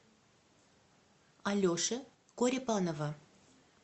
алеши корепанова